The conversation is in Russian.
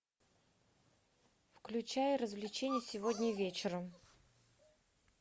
включай развлечения сегодня вечером